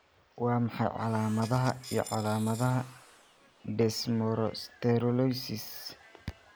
Waa maxay calaamadaha iyo calaamadaha Desmosterolosis?